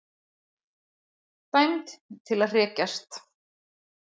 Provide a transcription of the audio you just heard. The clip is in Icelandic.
Dæmd til að hrekjast.